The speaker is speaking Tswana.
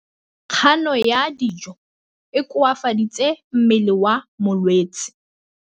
Kganô ya go ja dijo e koafaditse mmele wa molwetse.